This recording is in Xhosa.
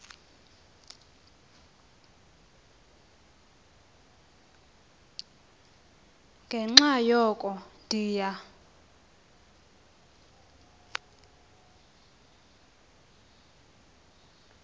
ngenxa yoko ndiya